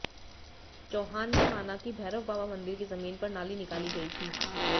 चौहान ने माना कि भैरव बाबा मंदिर की जमीन पर नाली निकाली गयी थी